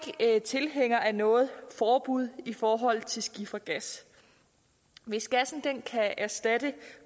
tilhængere af noget forbud i forhold til skifergas hvis gassen kan erstatte